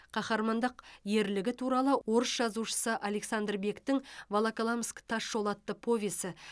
қаһармандық ерлігі туралы орыс жазушысы александр бектің волоколамск тас жолы атты повесі